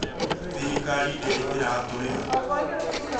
Thirikari ndĩri ĩratũrĩha